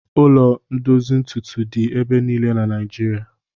Ụlọ ndozi ntutu dị ebe niile na Naijirịa.